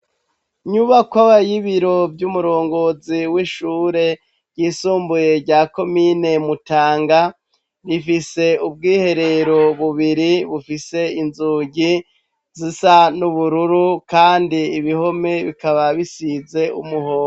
Nyubakoba y'ibiro vy'umurongozi w'ishure ryisumbuye rya komine mutanga rifise ubwiherero bubiri bufise inzugi zisa n'ubururu, kandi ibihome bikaba bisize umuhondo.